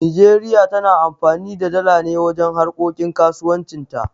Nijeriya tana amfani da dala ne wajen harkokin kasuwanci ta